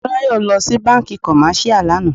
Motúnráyò lọ sí bánkì commercial lànà.